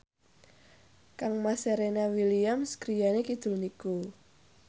kangmas Serena Williams griyane kidul niku